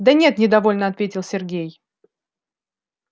да нет недовольно ответил сергей